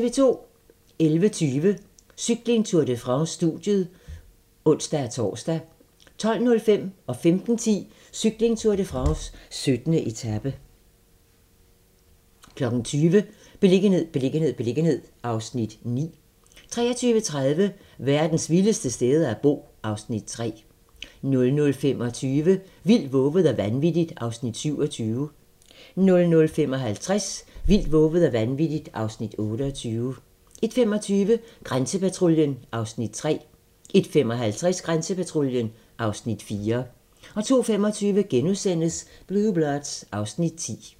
11:20: Cykling: Tour de France - studiet (ons-tor) 12:05: Cykling: Tour de France - 17. etape 15:10: Cykling: Tour de France - 17. etape 20:00: Beliggenhed, beliggenhed, beliggenhed (Afs. 9) 23:30: Verdens vildeste steder at bo (Afs. 3) 00:25: Vildt, vovet og vanvittigt (Afs. 27) 00:55: Vildt, vovet og vanvittigt (Afs. 28) 01:25: Grænsepatruljen (Afs. 3) 01:55: Grænsepatruljen (Afs. 4) 02:25: Blue Bloods (Afs. 10)*